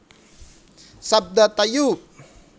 Sabda tayub